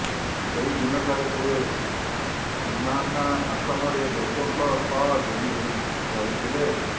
ସେହିଦିନଠାରୁ ସେ ପୁହ୍ନାନା ଆସନରେ ଲୋକଙ୍କ ସହ ଯୋଡ଼ି ହୋଇ ରହିଥିଲେ